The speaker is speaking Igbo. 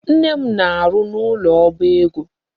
Nne m na-arụ n'ụlọ oba ego.